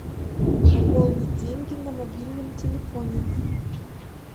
пополнить деньги на мобильном телефоне